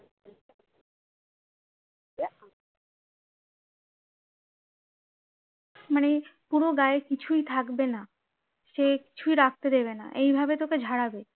মানে পুরো গায়ে কিছুই থাকবে না সে কিছুই রাখতে দেবে না এইভাবে তোকে ঝাড়াবে